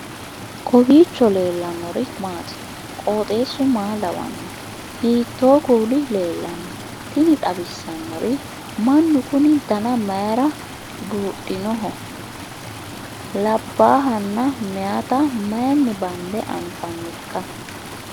kowiicho leellannori maati ? qooxeessu maa lawaanno ? hiitoo kuuli leellanno ? tini xawissannori mannu kuni dana mayra buudhinoho labbahanna meyata mayinni bande anfannikka